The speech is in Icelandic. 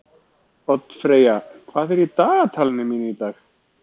Oddfreyja, hvað er í dagatalinu mínu í dag?